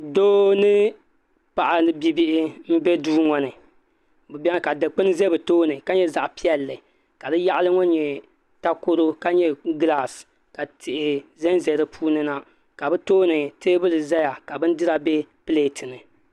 Doo ni paɣa bibihi n bɛ duu ŋo ni ka dikpuni ʒɛ bi tooni ka nyɛ zaɣ piɛlli ka bi yaɣali ŋo nyɛ takoro ka nyɛ gilaas ka tihi ʒɛnʒɛ di puuni na ka bi tooni teebuli ʒɛya ka bindira bɛ pileet ni